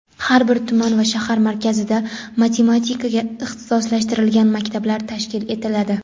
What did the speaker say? Har bir tuman va shahar markazida matematikaga ixtisoslashtirilgan maktablar tashkil etiladi.